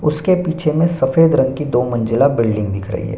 उसके पीछे में सफ़ेद रंग कि दो मंजिला बिल्डिंग दिख रही है।